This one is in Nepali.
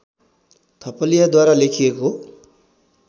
थपलियाद्वारा लेखिएको